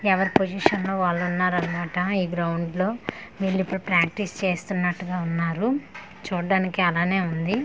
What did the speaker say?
ఎవరి పొజిషన్ లో వాళ్ళు ఉన్నారనమాట ఈ గ్రౌండ్ లో వీల్లిప్పుడు ప్రాక్టీస్ చేస్తున్నట్టుగా ఉన్నారు చూడ్డానికి అలానే ఉంది.